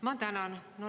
Ma tänan.